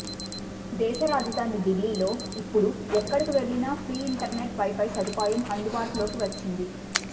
దేశ రాజదాని డిల్లీలో ఇప్పుడు ఎక్కడకు వెళ్లినా ఫ్రీ ఇంటర్ నెట్ వైఫై సదుపాయం అందుబాటులోకి వచ్చింది